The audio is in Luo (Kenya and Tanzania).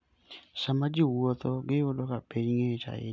Sama ji wuotho, giyudo ka piny ng'ich ahinya kendo pe ng'eny.